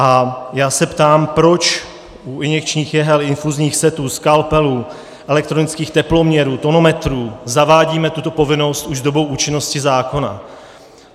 A já se ptám, proč u injekčních jehel, infuzních setů, skalpelů, elektronických teploměrů, tonometrů zavádíme tuto povinnost už s dobou účinnosti zákona.